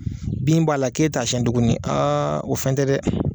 Bin b'a la k'e t'a siyan tuguni o fɛn tɛ dɛ!